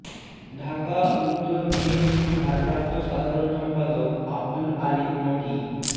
ঢাকা উত্তর বিএনপির ভারপ্রাপ্ত সাধারণ সম্পাদক আবদুল আলীম নকি